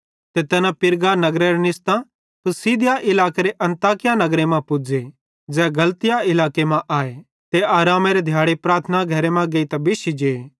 ते तैना पिरगा नगरेरां निस्तां पिसिदिया इलाकेरे अन्ताकिया नगरे मां पुज़े ज़ै गलतिया इलाके मां आए ते आरामेरे दिहाड़े प्रार्थना घरे मां गेइतां बिश्शी जे